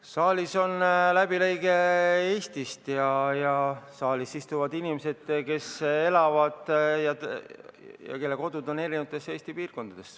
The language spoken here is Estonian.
Saalis on läbilõige Eestist ja saalis istuvad inimesed, kes elavad ja kelle kodud on Eesti eri piirkondades.